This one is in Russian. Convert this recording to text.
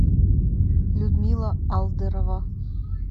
людмила алдырова